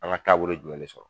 An ŋa taabolo jumɛn de sɔrɔ